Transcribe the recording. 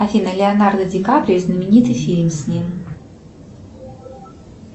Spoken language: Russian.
афина леонардо ди каприо и знаменитый фильм с ним